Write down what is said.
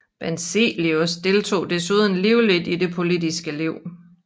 Benzelius deltog desuden livligt i det politiske liv